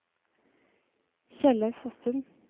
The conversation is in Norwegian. Kjellaug Fossum